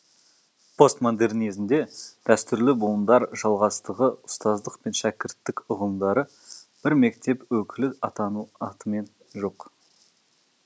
постмодернизмде дәстүрлі буындар жалғастығы ұстаздық пен шәкірттік ұғымдары бір мектеп өкілі атану атымен жоқ